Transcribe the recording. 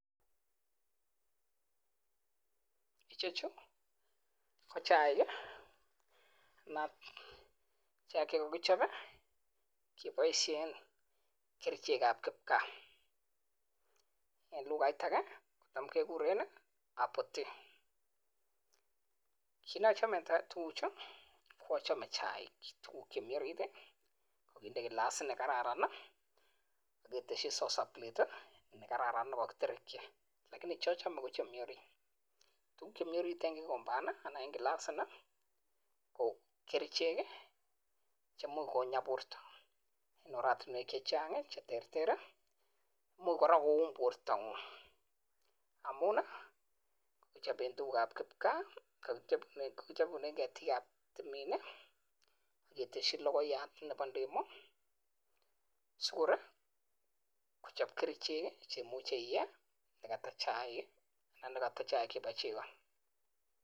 Chuuu KO chaik Che kakichop kebaishen kericheek ap kipkaaa kiit neachame tuguu Chuu achame chaik tuguk chemo orit Eng glasii nii KO kericheek imuchi kouun portaab Chito kot missing